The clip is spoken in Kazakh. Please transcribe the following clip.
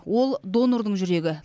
ол донордың жүрегі